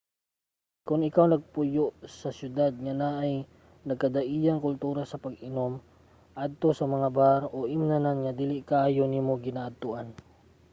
kon ikaw nagpuyo sa syudad nga naay nagkadaiyang kultura sa pag-inom adto sa mga bar o imnanan nga dili kaayo nimo ginaadtoan